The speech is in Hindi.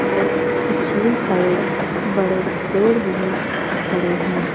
और पिछली साइड बड़े पेड़ भी खड़े हैं।